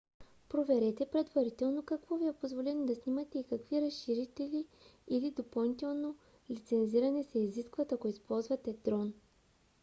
проверете предварително какво ви е позволено да снимате и какви разрешителни или допълнително лицензиране се изискват ако използвате дрон